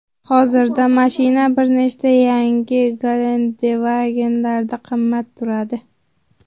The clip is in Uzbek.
Hozirda mashina bir nechta yangi Gelandewagen’lardan qimmat turadi.